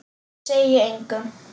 Ég segi engum.